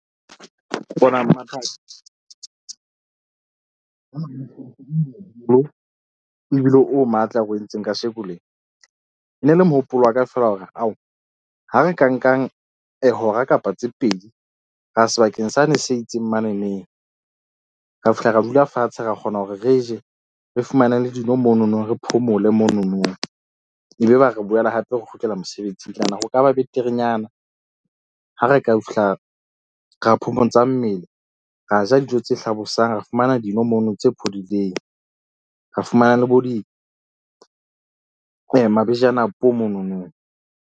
Bona ebile o matla re o entseng kasheko lena e ne le mohopolo wa ka fela hore ao ha re ka nkang hora kapa tse pedi. Ra ya sebakeng sane se itseng mane neng ra fihla, ra dula fatshe, ra kgona hore re je re fumane le dino mono no. Re phomole mono no, ebe ba re boele hape re kgutlela mosebetsing. Ke nahana ho ka ba beterenyana ha re ka fihla ra phomotsang mmele. Ra ja dijo tse hlabosang, ra fumana dino mono tse phodileng, ra fumana le bo di monono.